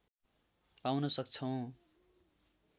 पाउन सक्छौं।